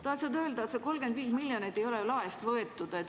Tahan öelda, et see 35 miljonit ei ole laest võetud.